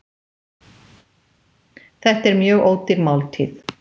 Þetta er mjög ódýr máltíð